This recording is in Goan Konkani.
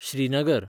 श्रीनगर